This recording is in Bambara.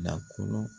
Nakɔ